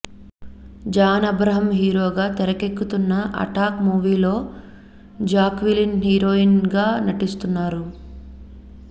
John Abraham హీరోగా తెరకెక్కుతున్న Attack మూవీలో జాక్విలిన్ హీరోయిన్ గా నటిస్తున్నారు